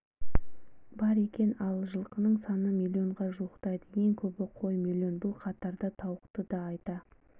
бар екен ал жылқының саны миллионға жуықтайды ең көбі қоймлн бұл қатарда тауықты да айта